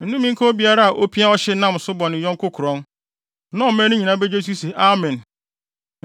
“Nnome nka obiara a opia ɔhye nam so bɔ ne yɔnko korɔn.” Na ɔman no nyinaa begye so se, “Amen!”